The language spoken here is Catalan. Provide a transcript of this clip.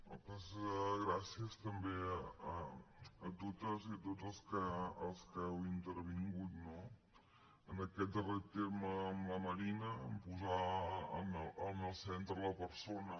moltes gràcies també a totes i a tots els que heu intervingut no en aquest darrer terme amb la marina en posar en el centre la persona